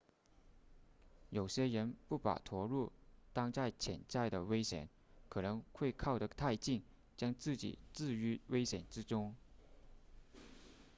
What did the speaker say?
有些人不把驼鹿当成潜在的危险可能会靠得太近将自己置于危险之中